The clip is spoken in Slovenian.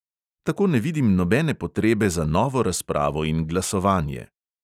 Tako ne vidim nobene potrebe za novo razpravo in glasovanje.